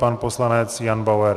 Pan poslanec Jan Bauer.